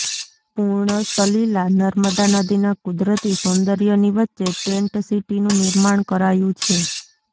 પૂર્ણ સલિલા નર્મદા નદીના કુદરતી સૌન્દર્યની વચ્ચે ટેન્ટ સીટીનું નિર્માણ કરાયું છે